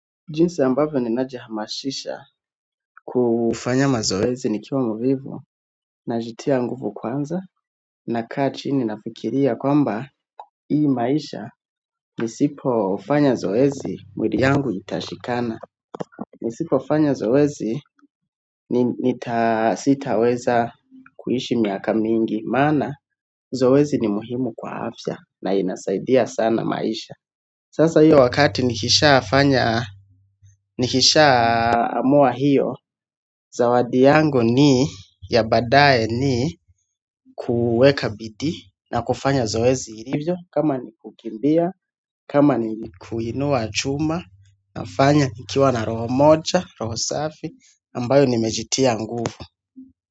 Jinsi ambavyo ninajihamashisha kufanya mazoezi nikiwa mvivu najitia nguvu kwanza nakaa chini nafikiria kwamba hii maisha nisipo fanya zoezi mwili yangu itashikana. Nisipofanya zoezi nita sitaweza kuishi miaka mingi maana zoezi ni muhimu kwa afya na inasaidia sana maisha sasa hiyo wakati nikisha fanya nikishaa amua hiyo zawadi yangu ni ya baadaye ni kuweka bidii na kufanya zoezi ilivyo kama ni kukimbia, kama ni kuinua chuma nafanya nikiwa na roho moja, roho safi ambayo nimejitia nguvu.